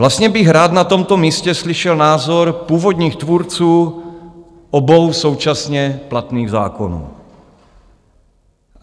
Vlastně bych rád na tomto místě slyšel názor původních tvůrců obou současně platných zákonů.